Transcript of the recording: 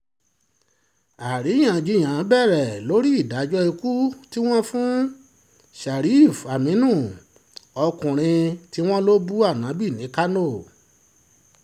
àríyànjiyàn bẹ̀rẹ̀ lórí ìdájọ́ ikú tí wọ́n fún sharif-aminu ọkùnrin tí wọ́n lọ bú anabi ní kánò